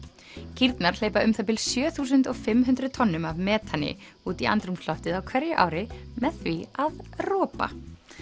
kýrnar hleypa um það bil sjö þúsund og fimm hundruð tonnum af metani út í andrúmsloftið á hverju ári með því að ropa